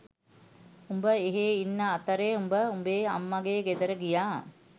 උඹ එහෙ ඉන්න අතරේ මම උඹේ අම්මගේ ගෙදර ගියා